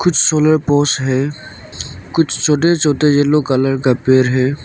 कुछ solar post है कुछ छोटे छोटे येलो कलर का पेड़ है।